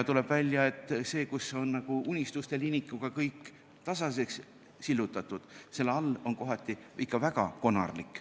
Tuleb välja, et seal, kus kõik on unistuste linikuga tasaseks sillutatud, seal all on maa kohati ikka väga konarlik.